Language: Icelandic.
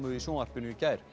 í sjónvarpinu í gær